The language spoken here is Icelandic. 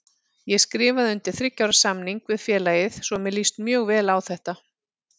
Ég skrifaði undir þriggja ára samning við félagið svo mér líst mjög vel á þetta.